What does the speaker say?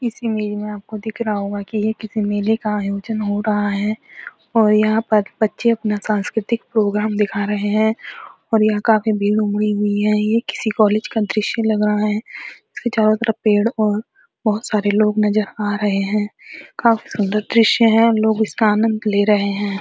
इस एरिया को देख रहा होगा कि ये किसी मेले का आयोजन हो रहा है और यहां पर बच्चे अपना सांस्कृति प्रोग्राम देखा रहे हैं और यह काफी भीड़ उमड़ी हुई है ये किसी कॉलेज का दृश्य लग रहा है इसके चारों तरफ पेड़ और बहुत सारे लोग नजर आ रहे हैं काफी सुन्दर दृश्य है लोग इसका आनंद ले रहे हैं।